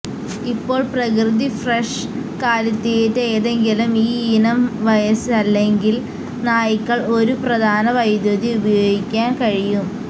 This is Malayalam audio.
ഇപ്പോൾ പ്രകൃതി ഫ്രെഷ് കാലിത്തീറ്റ ഏതെങ്കിലും ഈയിനം വയസ്സ് അല്ലെങ്കിൽ നായ്ക്കൾ ഒരു പ്രധാന വൈദ്യുതി ഉപയോഗിക്കാൻ കഴിയും